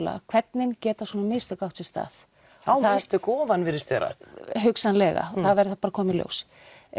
hvernig geta svona mistök átt sér stað á mistök ofan virðist vera hugsanlega það verður þá bara að koma í ljós